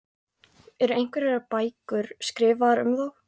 Eru einhverjar bækur skrifaðar um þá?